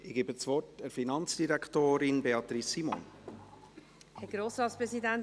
Ich gebe das Wort der Finanzdirektorin Beatrice Simon.